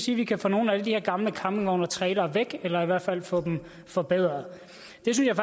vi kan få nogle af alle de her gamle campingvogne og trailere væk eller i hvert fald få dem forbedret